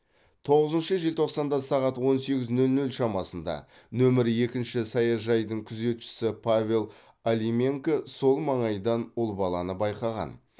тоғызыншы желтоқсанда сағат он сегіз нөл нөл шамасында нөмірі екінші саяжайдың күзетшісі павел алименко сол маңайдан ұл баланы байқаған